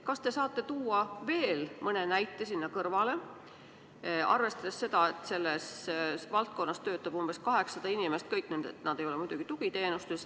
Kas te saate tuua veel mõne näite, arvestades seda, et selles valdkonnas töötab umbes 800 inimest, kõik nad ei ole muidugi tugiteenustes.